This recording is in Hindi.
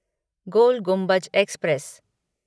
गोल गुम्बज एक्सप्रेस